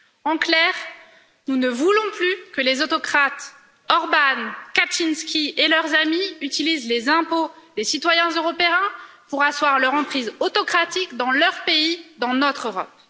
En clair, nous ne voulons plus que les autocrates Orbán, Kaczynski et leurs amis utilisent les impôts des citoyens européens pour asseoir leur emprise autocratique dans leur pays, dans notre Europe.